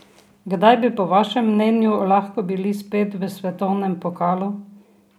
Kdaj bi po vašem mnenju lahko bili spet v svetovnem pokalu?